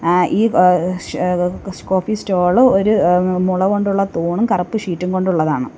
ആ ഈ വ ശ് കോഫി സ്റ്റോള് ഒരു മുള കൊണ്ടുള്ള തൂണും കറുപ്പ് ഷീറ്റും കൊണ്ടുള്ളതാണ്.